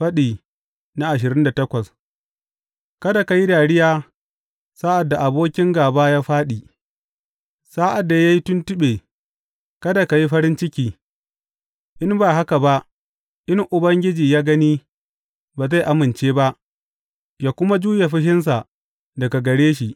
Faɗi ashirin da takwas Kada ka yi dariya sa’ad da abokin gāba ya fāɗi; sa’ad da ya yi tuntuɓe, kada ka yi farin ciki, in ba haka ba in Ubangiji ya gani ba zai amince ba ya kuma juye fushinsa daga gare shi.